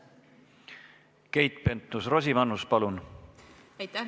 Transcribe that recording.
Keit Pentus-Rosimannus, palun!